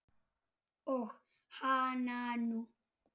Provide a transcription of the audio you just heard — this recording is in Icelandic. Og hananú!